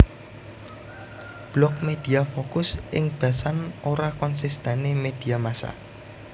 Blog Media fokus ing basan ora konsistene media massa